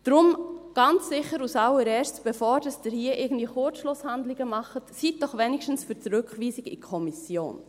Deshalb ganz sicher als Allererstes, bevor Sie hier irgendwie Kurzschlusshandlungen machen, seien Sie doch wenigstens für die Rückweisung in die Kommission!